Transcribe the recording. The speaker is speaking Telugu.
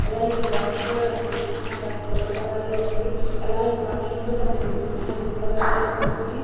అలాగే ఇక్కడ డ్రమ్స్ కూడా కన్పిస్తున్నాయ్ ఆ డ్రమ్స్ యెల్లో కలర్ లో ఉంది అలాగే కొన్ని ఇండ్లు కనిపిస్తున్నాయ్ అవి బ్లూ కలర్ లో ఉన్నాయి.